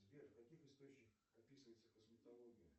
сбер в каких источниках описывается косметология